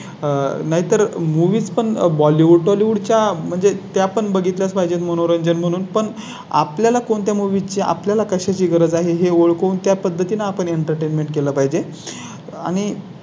आह नाही तर Movies पण बॉलीवुड बॉलिवूड च्या म्हणजे त्या पण बघितलं. पाच मनोरंजन म्हणून पण आपल्या ला कोणत्या Movies चे आपल्या ला कशा ची गरज आहे हे ओळखून त्या पद्धतीने आपण Entertainment केला पाहिजे आणि.